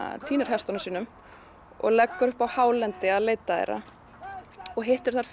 týnir hestunum sínum og leggur upp á hálendi til að leita þeirra og hittir þar